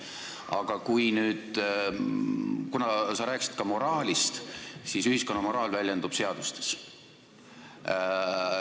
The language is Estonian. Aga sa rääkisid ka moraalist ja ühiskonna moraal väljendub seadustes.